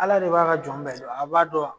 Ala de b'a ka jɔn bɛɛ dɔn, a b'a don.